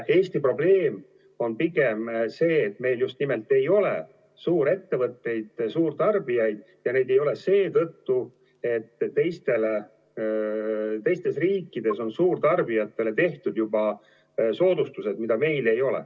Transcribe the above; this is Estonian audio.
Eesti probleem on pigem see, et meil just nimelt ei ole suurettevõtteid ja suurtarbijaid, ja neid ei ole seetõttu, et teistes riikides on suurtarbijatele tehtud juba soodustused, mida meil ei ole.